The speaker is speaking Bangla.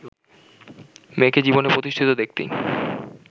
মেয়েকে জীবনে প্রতিষ্ঠিত দেখতেই